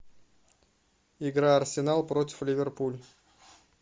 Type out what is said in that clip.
игра арсенал против ливерпуль